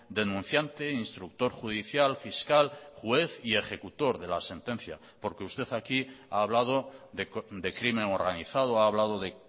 denunciante instructor judicial fiscal juez y ejecutor de la sentencia porque usted aquí ha hablado de crimen organizado ha hablado de